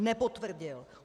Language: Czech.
Nepotvrdil!